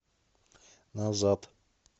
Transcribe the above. назад